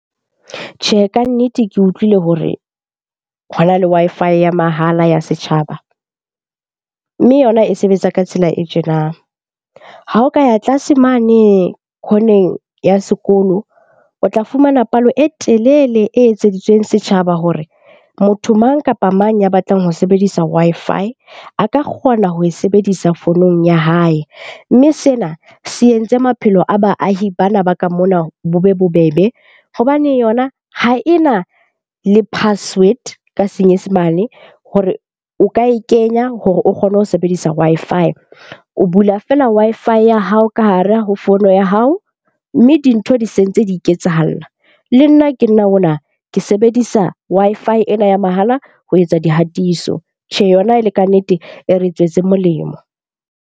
Tjhe, kannete ke utlwile hore hona le Wi-Fi ya mahala ya setjhaba mme yona e sebetsa ka tsela e tjena. Ha o ka ya tlase mane corner-eng ya sekolo, o tla fumana palo e telele e etseditsweng setjhaba hore motho mang kapa mang ya batlang ho sebedisa Wi-Fi a ka kgona ho e sebedisa founung ya hae. Mme sena se entse maphelo a baahi bana ba ka mona bo be bobebe hobane yona ha e na le password ka senyesemane hore o ka e kenya hore o kgone ho sebedisa Wi-Fi. O bula feela Wi-Fi ya hao ka hara ho fono ya hao, mme mme dintho di se ntse di ketsahala. Le nna ke nna ona, ke sebedisa Wi-Fi ena ya mahala ho etsa dihatiso. Tjhe, yona e le kannete e re tswetse molemo.